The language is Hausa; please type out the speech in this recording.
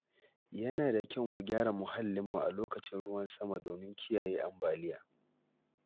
Yana da kyau mu gyara muhallinmu a lokacin ruwan sama domin kiyaye ambaliya.